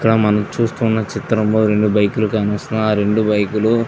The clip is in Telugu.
ఇక్కడ మనం చూస్తున్న చిత్రము రెండు బైక్ లు కాన వస్తున్నాయి ఆ రెండు బైక్ లు--